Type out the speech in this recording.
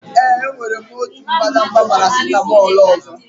Ee, enwere m otu mbadamba paracetamol ọzọ.